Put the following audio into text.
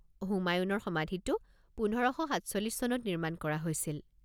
হুমায়ুণৰ সমাধিটো পোন্ধৰ সাতচল্লিছ চনত নিৰ্মাণ কৰা হৈছিল।